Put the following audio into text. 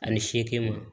Ani seegin ma